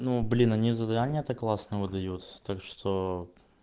ну блин они задания так классно выдаются так что